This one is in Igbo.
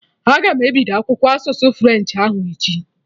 Aga m ebido akwụkwọ asụsụ french ahụ echi